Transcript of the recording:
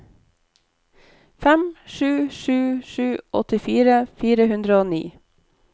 fem sju sju sju åttifire fire hundre og ni